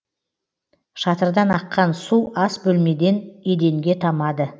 шатырдан аққан су ас бөлемеден еденге тамады